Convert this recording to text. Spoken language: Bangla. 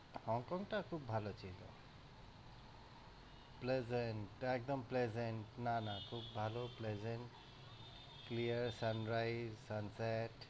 HongKong টা খুব ভাল ছিল, pleasant একদম pleasant না না খুব ভাল pleasent, clear sunrise, sunset